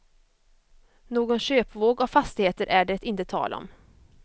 Någon köpvåg av fastigheter är det inte tal om.